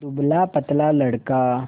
दुबलापतला लड़का